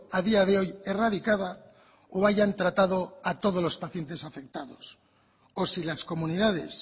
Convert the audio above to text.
a día de hoy erradicada o hayan tratado a todos los pacientes afectados o si las comunidades